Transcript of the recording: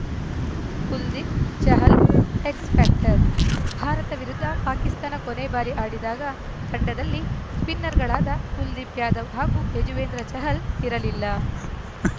Kuldeep Chahal X factor Bharat ವಿರುದ್ಧ ಪಾಕಿಸ್ತಾನ ಕೊನೆ ಬಾರಿ ಆಡಿದಾಗ ತಂಡದಲ್ಲಿ ಸ್ಪಿನ್ನರ್‌ಗಳಾದ ಕುಲ್ದೀಪ್‌ ಯಾದವ್‌ ಹಾಗೂ ಯಜುವೇಂದ್ರ ಚಹಲ್‌ ಇರಲಿಲ್ಲ